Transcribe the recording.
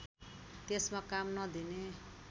त्यसमा काम नदिने